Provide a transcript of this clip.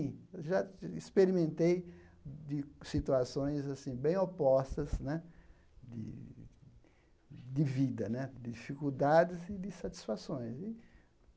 Já experimentei de situações assim bem opostas né de de vida né, de dificuldades e de satisfações.